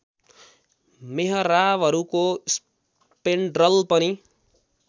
मेहराबहरूको spandrel पनि